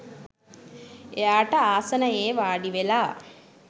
එයාට ආසනයේ වාඩිවෙලා